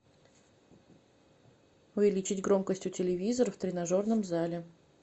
увеличить громкость у телевизора в тренажерном зале